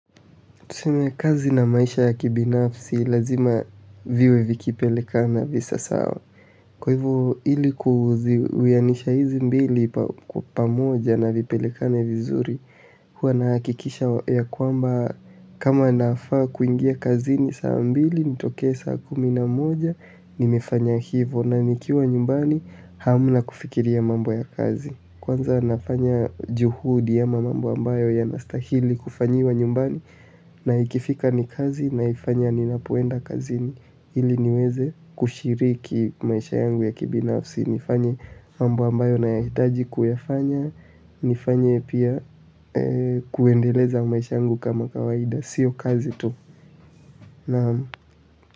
Tuseme kazi na maisha ya kibinafsi lazima viwe vikipelekana visa sawa. Kwa hivo ili ku kulinganisha hizi mbili pamoja na vipelikane vizuri, huwa na hakikisha ya kwamba kama nafaa kuingia kazi ni saa mbili, nitoke saa kuminamoja, nimefanya hivu na nikiwa nyumbani haamuna kufikiri ya mambo ya kazi. Kwanza nafanya juhudi ya mambo ambayo yanastahili kufanyiwa nyumbani na ikifika ni kazi naifanya ninapoenda kazini ili niweze kushiriki maisha yangu ya kibinafsi nifanye mambo ambayo nayahitaji kuyafanya nifanye pia kuendeleza maisha yangu kama kawaida sio kazi tu. Naam.